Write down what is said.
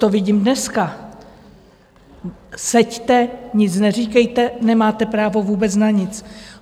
To vidím dneska: seďte, nic neříkejte, nemáte právo vůbec na nic.